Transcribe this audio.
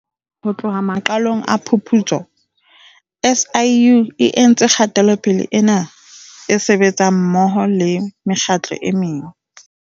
Ho tloha maqalong a phuputso, SIU e entse kgatelopele ena e sebetsa mmoho le mekgatlo e meng.